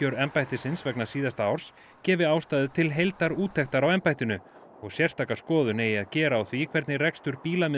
embættisins vegna síðasta árs gefi ástæðu til heildarúttektar á embættinu og sérstaka skoðun eigi að gera á því hvernig rekstur